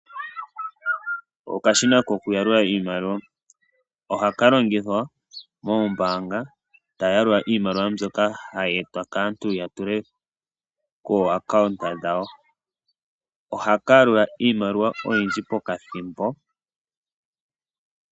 Okashina koku yalula iimaliwa ohaka longithwa moombanga taya yalula iimaliwa mbyoka hayi etwa kaantu yatule kooaccounta dhawo, ohaka yalula iimaliwa oyindji pokathimbo.